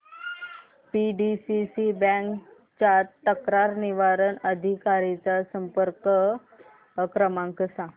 PDCC bank च्या तक्रार निवारण अधिकारी चा संपर्क क्रमांक सांग